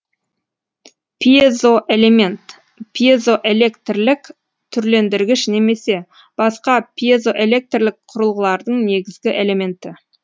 пьезоэлемент пьезоэлектрлік түрлендіргіш немесе басқа пьезоэлектрлік құрылғылардың негізгі элементі